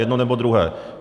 Jedno, nebo druhé.